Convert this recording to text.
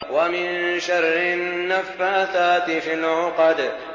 وَمِن شَرِّ النَّفَّاثَاتِ فِي الْعُقَدِ